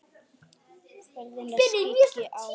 Ferðina skyggi á.